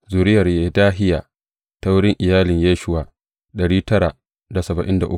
Zuriyar Yedahiya ta wurin iyalin Yeshuwa ta Immer ta Fashhur ta Harim